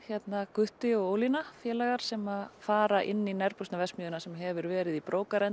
gutti og Ólína félagar sem fara inn í nærbuxnaverksmiðjuna sem hefur verið í